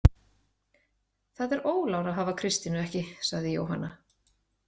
Það er ólán að hafa Kristínu ekki, sagði Jóhanna.